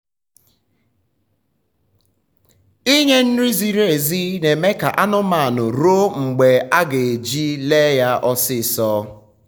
ịnye nri ziri ezi na eme ka anụmanụ ruo mgbe aga ji le ya ọsịsọ